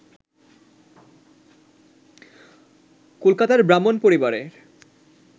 কলকাতার ব্রাহ্মণ পরিবারে